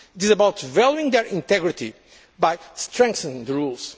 movement. It is about valuing their integrity by strengthening